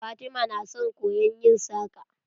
Fatima na son koyon yin saƙa.